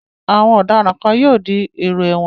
Awọn ọ̀daràn kan yóò di èrò ẹ̀wọ̀n.